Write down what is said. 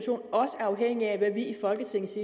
afhængig af hvad vi i folketingets